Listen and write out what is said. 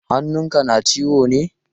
Hannun ka na ciwo ne?